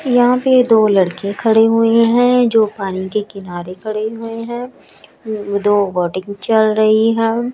यहां पे दो लड़के खड़े हुए हैं जो पानी के किनारे खड़े हुए हैं दो वोटिंग चल रही है।